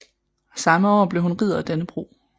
Samme år blev hun Ridder af Dannebrog